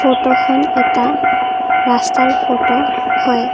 ফটোখন এটা ৰাস্তাৰ ফটো হয়।